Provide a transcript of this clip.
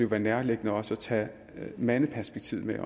være nærliggende også at tage mandeperspektivet med